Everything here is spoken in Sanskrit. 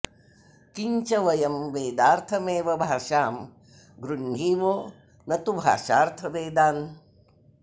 किञ्च वयं वेदार्थमेव भाषां गृह्णीमो न तु भाषार्थ वेदान्